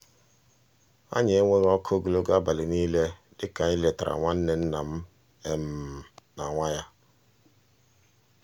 anyị enweghị ọkụ ogologo abalị niile dịka anyị letara nwa nwanne nna m na nwa um ya.